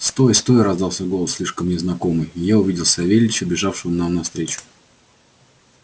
стой стой раздался голос слишком мне знакомый и я увидел савельича бежавшего нам навстречу